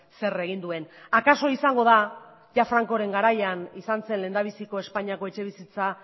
zer egin duen akaso izango da ia frankoren garaian izan zen lehendabiziko espainiako etxebizitza